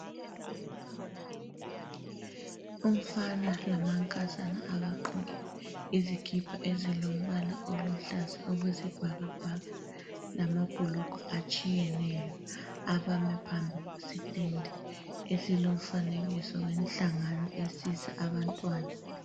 Umfana lamankazana abagqoke izikipa ezilombala oluhlaza okwesibhakabhaka lamabhulugwe atshiyeneyo. Abame phambi kwesi stendi esilomfanekiso wenhlangano esiza abantwana.